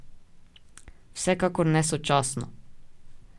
Vsekakor ne sočasno.